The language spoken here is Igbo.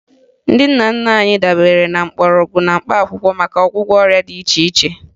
Ndị nna nna anyị dabere na mgbọrọgwụ na mkpaakwụkwọ maka ọgwụgwọ ọrịa dị iche iche